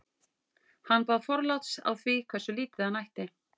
hann baðst forláts á því hversu lítið hann ætti